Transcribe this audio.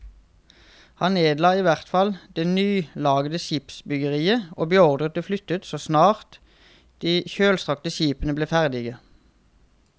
Han nedla i hvert fall det nyanlagte skipsbyggeriet og beordret det flyttet så snart de kjølstrakte skipene ble ferdige.